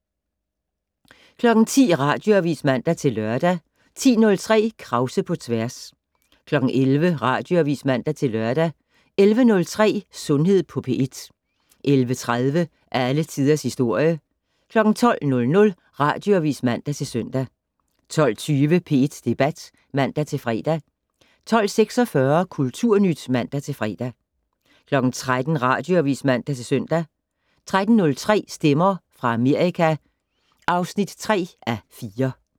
10:00: Radioavis (man-lør) 10:03: Krause på tværs 11:00: Radioavis (man-lør) 11:03: Sundhed på P1 11:30: Alle Tiders Historie 12:00: Radioavis (man-søn) 12:20: P1 Debat (man-fre) 12:46: Kulturnyt (man-fre) 13:00: Radioavis (man-søn) 13:03: Stemmer fra Amerika (3:4)